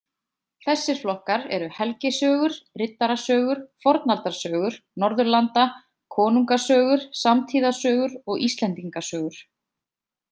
Þessir flokkar eru helgisögur , riddarasögur , fornaldarsögur Norðurlanda, konungasögur, samtíðasögur og Íslendingasögur.